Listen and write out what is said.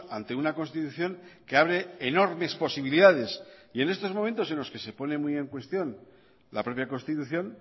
ante una constitución que abre enormes posibilidades y en estos momentos en los que se pone muy en cuestión la propia constitución